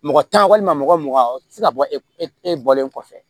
Mɔgɔ tan walima mɔgɔ mugan o tɛ se ka bɔ e bɔlen kɔfɛ